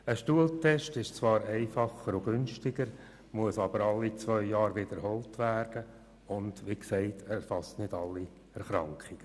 Ein Stuhltest ist zwar einfacher und günstiger, muss aber alle zwei Jahre wiederholt werden und erfasst nicht alle Erkrankungen.